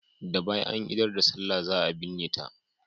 Da bayan an idar da sallah za a binne ta.